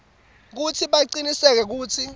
kutsi bacinisekise kutsi